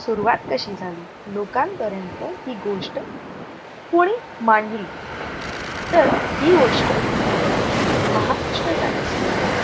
सुरवात कशी झाली? लोकांपर्यंत ही गोष्ट कुणी मांडली तर ही गोष्ट महाराष्ट्र times द्वारे